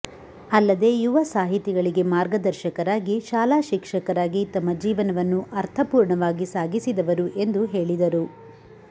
ಅಲ್ಲದೆ ಯುವ ಸಾಹಿತಿಗಳಿಗೆ ಮಾರ್ಗದರ್ಶಕರಾಗಿ ಶಾಲಾ ಶಿಕ್ಷಕರಾಗಿ ತಮ್ಮ ಜೀವನವನ್ನು ಅರ್ಥಪೂರ್ಣವಾಗಿ ಸಾಗಿಸಿದವರು ಎಂದು ಹೇಳಿದರು